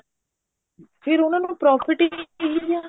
ਫ਼ੇਰ ਉਹਨਾ ਨੂੰ profit ਹੀ ਕੀ ਰਿਹਾ